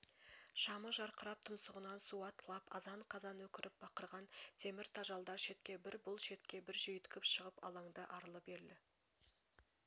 шамы жарқырап тұмсығынан су атқылап азан-қазан өкіріп-бақырған темр тажалдар шетке бір бұл шетке бір жүйіткіп шығып алаңды арлы-берлі